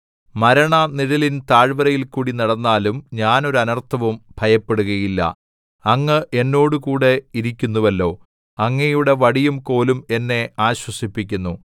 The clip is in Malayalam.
മരണനിഴലിൻ താഴ്വരയിൽ കൂടിനടന്നാലും ഞാൻ ഒരു അനർത്ഥവും ഭയപ്പെടുകയില്ല അങ്ങ് എന്നോടുകൂടി ഇരിക്കുന്നുവല്ലോ അങ്ങയുടെ വടിയും കോലും എന്നെ ആശ്വസിപ്പിക്കുന്നു